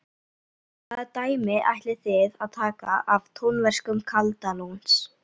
Hvaða dæmi ætlið þið að taka af tónverkum Kaldalóns?